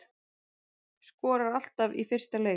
Skorar alltaf í fyrsta leik